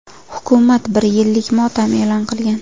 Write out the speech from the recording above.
Hukumat bir yillik motam e’lon qilgan.